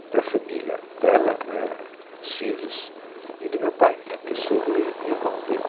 E para a família dela, né, os filhos, né, e do meu pai, né, porque sogro e e irmão dele.